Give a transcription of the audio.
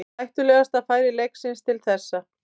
Hættulegasta færi leiksins til þessa.